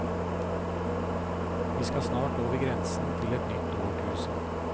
Vi skal snart over grensen til et nytt årtusen.